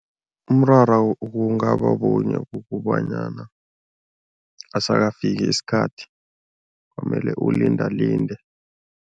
Umraro kungaba bunye, kukobanyana asakafiki isikhathi, kwamele ulindalinde.